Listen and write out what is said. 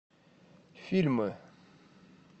фильмы